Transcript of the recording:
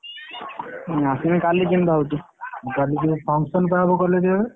ଆସିବି କାଲି ଦିନ ଯାଉଛି କାଲି function ହବ ହବ college ରେ।